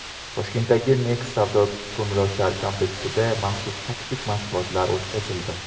Toshkentdagi Next savdo-ko‘ngilochar kompleksida maxsus taktik mashg‘ulotlar o‘tkazildi.